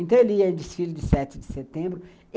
Então ele ia em desfile de sete de setembro.